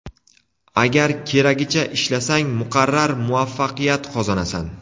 Agar keragicha ishlasang, muqarrar muvaffaqiyat qozonasan.